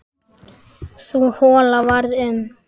Sú hola varð um